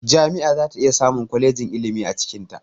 Jami'a zata iya samun kwalejin ilimi a cikinta